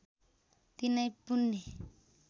तिनै पुण्य